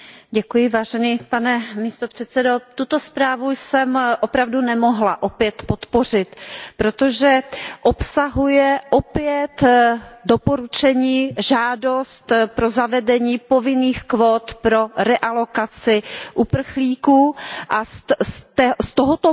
Pane předsedající, tuto zprávu jsem opravdu nemohla opět podpořit, protože obsahuje opět doporučení, žádost pro zavedení povinných kvót pro realokaci uprchlíků, a z tohoto modelu by